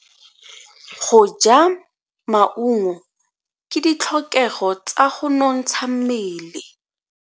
Go ja maungo ke ditlhokego tsa go nontsha mmele.